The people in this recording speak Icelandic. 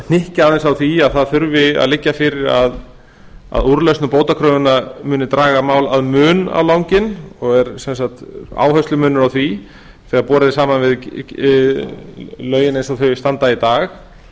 hnykkja aðeins á því að það þurfi að liggja fyrir að úrlausn bótakröfunnar muni draga mál að mun á langinn og er sem sagt áherslumunur á því þegar borið er saman við lögin eins og þau standa í dag